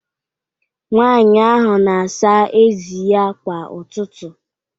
Nwanyị ahụ na-asa ezi ya kwa ụtụtụ